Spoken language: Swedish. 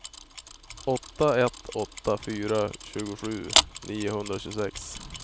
åtta ett åtta fyra tjugosju niohundratjugosex